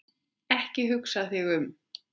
Ekki hugsa þig um.